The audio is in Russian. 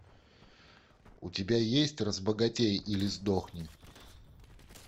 у тебя есть разбогатей или сдохни